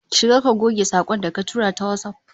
Shiga ka goge sakon da ka tura ta WhatsApp